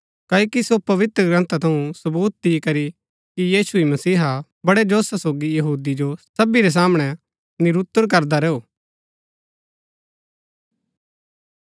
क्ओकि सो पवित्रग्रन्था थऊँ सवूत दि दिकरी कि यीशु ही मसीहा हा बड़ै जोशा सोगी यहूदी जो सबी रै सामणै निरूतर करदा रैऊ